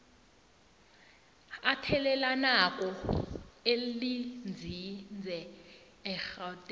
athelelanako elinzinze egauteng